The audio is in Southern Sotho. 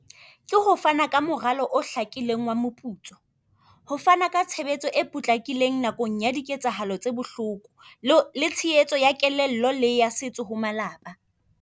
Ke ho fana ka moralo o hlakileng wa moputso, ho fana ka tshebetso e potlakileng nakong ya diketsahalo tse bohloko, le tshehetso ya kelello le ya setso ho malapa.